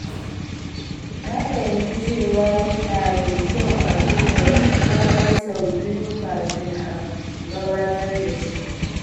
Na fahimci cewa yana da kyau a duba komai sau biyu kafin a gabatar da shi.